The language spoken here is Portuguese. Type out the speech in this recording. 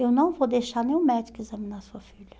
Eu não vou deixar nenhum médico examinar sua filha.